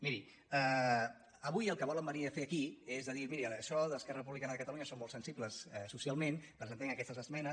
miri avui el que volen venir a fer aquí és a dir miri això des d’esquerra republicana de catalunya som molt sensibles socialment presentem aquestes esmenes